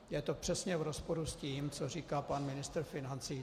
Je to přesně v rozporu s tím, co říkal pan ministr financí.